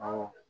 Awɔ